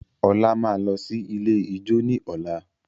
Ola máa lọ sí ilé ijó ní ọ̀la.